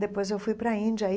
Depois eu fui para a Índia.